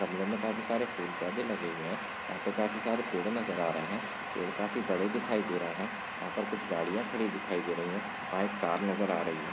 गमलों में काफ़ी सारे फूल पौधे लगे हुए है यहा पे काफ़ी सारे पेडे नज़र आ रहे है पेड़ काफ़ी बड़े दिखाई दे रहे है यहा पर कुछ गाड़िया खड़ी दिखाई दे रही है वहा एक कार नज़र आ रही है।